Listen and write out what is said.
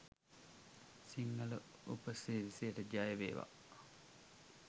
සිංහල උපසිරසියට! ජය වේවා!.